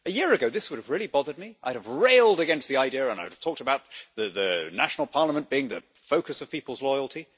A year ago, this would have really bothered me. I would have railed against the idea and I would have talked about the national Parliament being the focus of people's loyalty.